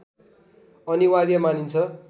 अनिवार्य मानिन्छ